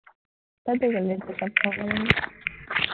তইতো কলি চব খাব লাগে বুলি